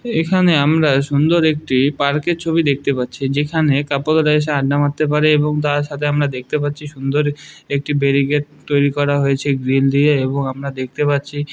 এখানে আমরা সুন্দর একটি পার্ক -এর ছবি দেখতে পাচ্ছি যেখানে কপেল -রা এসে আড্ডা মারতে পারে | এবং তার সাথে আমরা দেখতে পাচ্ছি সুন্দর একটি ব্যারিকেড তৈরি করা হয়েছে গ্রিল দিয়ে এবং আমরা দেখতে পাচ্ছি ।